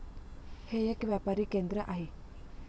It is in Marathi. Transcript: हे एक व्यापारी केंद्र आहे.